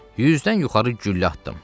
100-dən yuxarı güllə atdım.